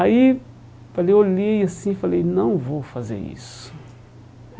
Aí, falei, olhei assim, falei, não vou fazer isso.